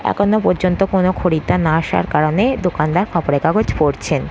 এখনো পর্যন্ত কোনো খরিদ্দার না আসার কারণে দোকানদার খবরের কাগজ পড়ছেন।